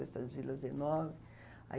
Essas vilas enormes. Aí